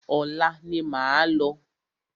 Ọ̀la ni máa lọ.